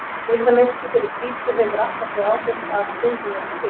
Litamynstur fyrir hvítu hefur alltaf þau áhrif að kindin verður hvít.